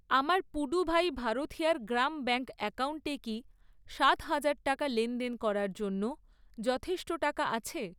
আমার পুডুভাই ভারথিয়ার গ্রাম ব্যাঙ্ক অ্যাকাউন্টে কি সাত হাজার টাকা লেনদেন করার জন্য যথেষ্ট টাকা আছে?